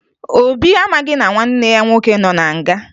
Obi amaghị na nwanne ya nwoke nọ na nga